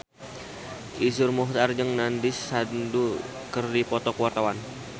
Iszur Muchtar jeung Nandish Sandhu keur dipoto ku wartawan